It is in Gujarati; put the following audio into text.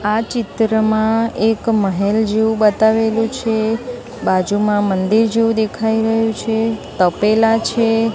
આ ચિત્રમાં એક મહેલ જેવું બતાવેલું છે બાજુમાં મંદિર જેવુ દેખાય રહ્યું છે તપેલા છે.